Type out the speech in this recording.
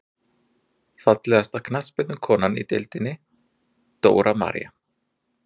Fallegasta knattspyrnukonan í deildinni: Dóra María.